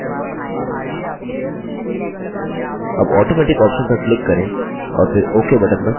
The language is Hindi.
अब automaticऑप्शन पर click करें और फिर ok button पर click करें